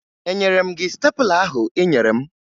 Enyere m gị stepụla ahụ ị nyere m?